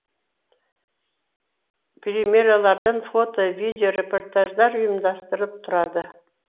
премьералардан фото видео репортаждар ұйымдастырылып тұрады